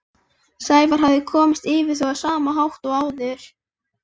Sævar hafði komist yfir þau á sama hátt og áður.